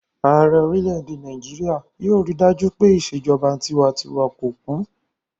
Ààrẹ orílẹ̀-èdè Nàìjíríyà yóò rí dájú pé ìṣèjọba tinwatinwa kò kú